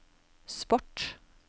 sport